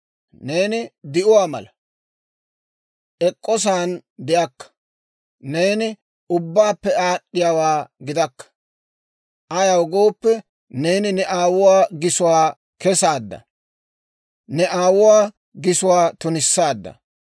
Neeni di'uwaa mala; ek'k'osa'an de'akka; neeni ubbaappe aad'd'iyaawaa gidakka. Ayaw gooppe, neeni ne aawuwaa gisuwaa kesaadda; ne aawuwaa gisuwaa tunissaadda.